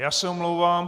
Já se omlouvám.